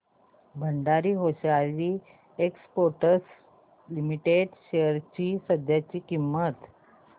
Bhandari hosiery exports limited shares ची सध्याची किंमत